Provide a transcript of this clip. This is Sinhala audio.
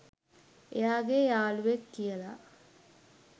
එයාගේ යාළුවෙක් කියලා.